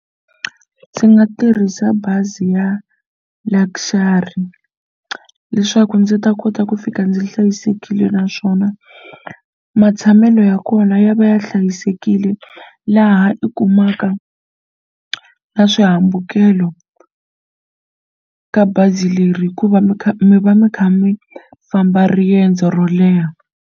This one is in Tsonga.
Ndzi nga tirhisa bazi ya Luxury leswaku ndzi ta kota ku fika ndzi hlayisekile naswona matshamelo ya kona ya va ya hlayisekile laha u kumaka na swihambukelo ka bazi leri hikuva mi kha mi va mi kha mi famba riendzo ro leha.